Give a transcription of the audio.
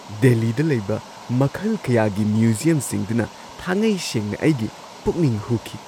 ꯗꯦꯜꯂꯤꯗ ꯂꯩꯕ ꯃꯈꯜ ꯀꯌꯥꯒꯤ ꯃ꯭ꯌꯨꯖꯤꯌꯝꯁꯤꯡꯗꯨꯅ ꯊꯥꯉꯩꯁꯦꯡꯅ ꯑꯩꯒꯤ ꯄꯨꯛꯅꯤꯡ ꯍꯨꯈꯤ꯫